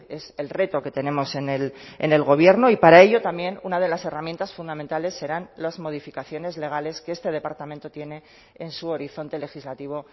es el reto que tenemos en el gobierno y para ello también una de las herramientas fundamentales serán las modificaciones legales que este departamento tiene en su horizonte legislativo